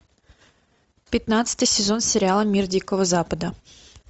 пятнадцатый сезон сериала мир дикого запада